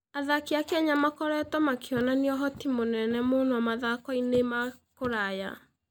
Athaki a Kenya makoretwo makĩonania ũhoti mũnene mũno mathako-inĩ ma kũraya.